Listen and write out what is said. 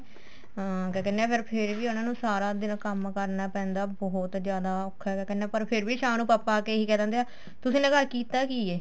ਹਮ ਕਿਆ ਕਹਿਨੇ ਏ ਪਰ ਫੇਰ ਵੀ ਉਹਨਾ ਨੂੰ ਸਾਰਾ ਦਿਨ ਕੰਮ ਕਰਨਾ ਪੈਂਦਾ ਬਹੁਤ ਜਿਆਦਾ ਔਖਾ ਕਿਆ ਕਹਿਨੇ ਏ ਪਰ ਫੇਰ ਸ਼ਾਮ ਨੂੰ ਪਾਪਾ ਆ ਕੇ ਇਹ ਈ ਕਹਿ ਦਿੰਦੇ ਏ ਤੁਸੀਂ ਨੇ ਘਰ ਕੀਤਾ ਕੀ ਏ